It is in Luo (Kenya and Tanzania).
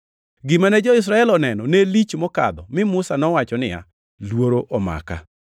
Gima ne jo-Israel oneno ne lich mokadho mi Musa nowacho niya, “Luoro omaka.” + 12:21 \+xt Rap 9:19\+xt*